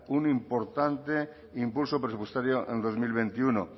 un importante impulso presupuestario en dos mil veintiuno